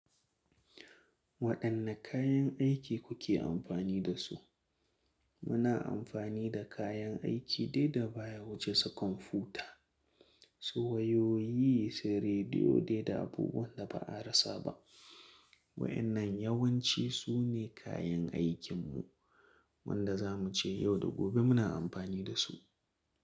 Waɗanne kayan aiki kuke amfani da su? Muna amfani da kayan aiki dai da baya wuce sakomfuta, su wayoyi, sai rediyo dai da abubuwan da ba a rasa ba. Waɗannan yawanci su ne kayan aikinmu wanda za mu ce yau da gobe muna amfani da su.